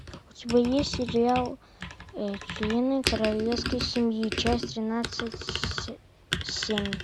у тебя есть сериал члены королевской семьи часть тринадцать семь